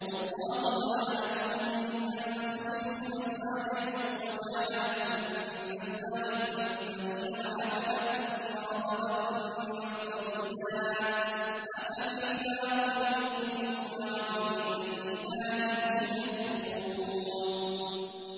وَاللَّهُ جَعَلَ لَكُم مِّنْ أَنفُسِكُمْ أَزْوَاجًا وَجَعَلَ لَكُم مِّنْ أَزْوَاجِكُم بَنِينَ وَحَفَدَةً وَرَزَقَكُم مِّنَ الطَّيِّبَاتِ ۚ أَفَبِالْبَاطِلِ يُؤْمِنُونَ وَبِنِعْمَتِ اللَّهِ هُمْ يَكْفُرُونَ